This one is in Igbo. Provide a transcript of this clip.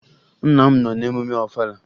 Nna m nọ n'emume Ọfala